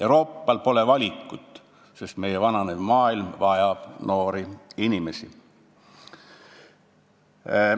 Euroopal pole valikut, sest meie vananev maailm vajab noori inimesi.